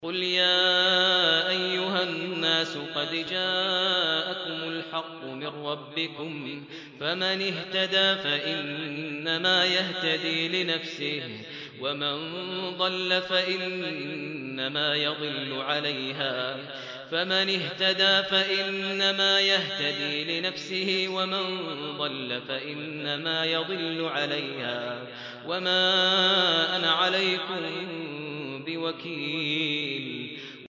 قُلْ يَا أَيُّهَا النَّاسُ قَدْ جَاءَكُمُ الْحَقُّ مِن رَّبِّكُمْ ۖ فَمَنِ اهْتَدَىٰ فَإِنَّمَا يَهْتَدِي لِنَفْسِهِ ۖ وَمَن ضَلَّ فَإِنَّمَا يَضِلُّ عَلَيْهَا ۖ وَمَا أَنَا عَلَيْكُم بِوَكِيلٍ